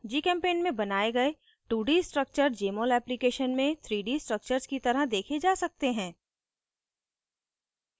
gchempaint में बनाये गए 2d structures jmol application में 3d structures की तरह देखे जा सकते हैं